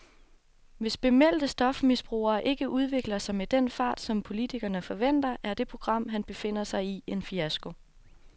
Hvis bemeldte stofmisbrugere ikke udvikler sig med den fart, som politikerne forventer, er det program, han befinder sig i, en fiasko.